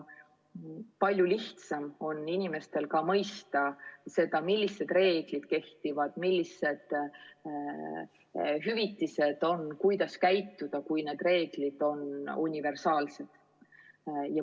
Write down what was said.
Palju lihtsam on inimestel siis ka mõista, millised reeglid kehtivad, millised hüvitised on, kuidas käituda, kui reeglid on universaalsed.